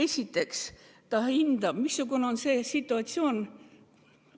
Kõigepealt ta hindab, missugune on situatsioon.